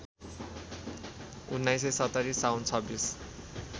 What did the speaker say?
१९७० साउन २६